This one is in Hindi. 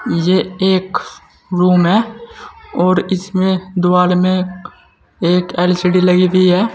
ये एक रूम है और इसमें दीवाल में एक एक एल_सी_डी लगी हुई है।